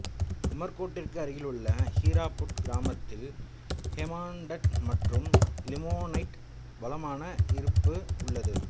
உமர்கோட்டிற்கு அருகிலுள்ள ஹீராபுட் கிராமத்தில் ஹெமாடைட் மற்றும் லிமோனைட் வளமான இருப்பு உள்ளது